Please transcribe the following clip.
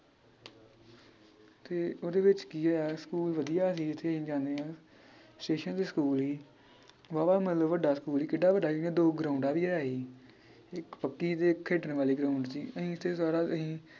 ਤੇ ਓਹਦੇ ਵਿਚ ਕੀ ਏ ਸਕੂਲ ਵਧੀਆ ਸੀ ਜਿਥੇ ਅਸੀ ਜਾਨੇ ਸਟੇਸ਼ਨ ਤੇ ਸਕੂਲ ਹੀ ਵਾਵਾ ਮਤਲਬ ਵੱਡਾ ਸਕੂਲ ਹੀ ਕਿਡਾ ਵੱਡਾ ਹੀ ਇਹਦੀਆਂ ਦੋ ਗਰਾਊਂਡਾਂ ਵੀ ਹੈ ਹੀ ਇਕ ਪੱਕੀ ਤੇ ਇਕ ਖੇਡਣ ਵਾਲੀ ਗ੍ਰਾਉੰਡ ਹੀ ਅਹੀਂ ਤੇ ਸਾਰਾ ਅਹੀਂ